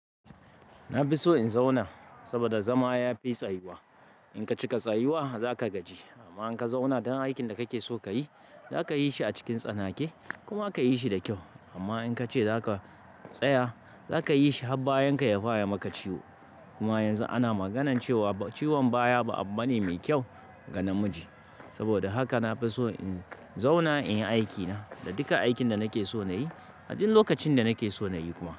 Na fi so in zauna, saboda zama ya fi tsayuwa. In ka cika tsayuwa za ka gaji, amma in ka zauna dan aikin da kake so ka yi, za ka yi shi a cikin tsanake kuma za ka yi shi da kyau. Amma in ka ce za ka tsaya, za ka yi shi har bayan ka ya fara maka ciwo. Kuma yanzu ana maganan cewa ciwon baya ba abu bane mai kyau ga namiji. Saboda haka na fi so in zauna in yi aikina da duka aikin da nake so na yi, a duk lokacin da nake so na yi kuma.